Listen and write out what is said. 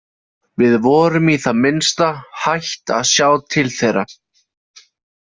Við vorum í það minnsta hætt að sjá til þeirra.